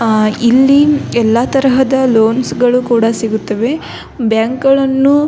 ಆ ಇಲ್ಲಿ ಎಲ್ಲ ತರಹದ ಲೋನ್ಸ್ ಗಳು ಕೂಡ ಸಿಗುತ್ತವೆ ಬ್ಯಾಂಕ್ ಗಳನ್ನು --